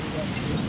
Qardaşım.